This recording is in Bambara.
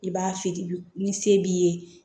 I b'a feere ni se b'i ye